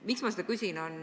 Miks ma seda küsin?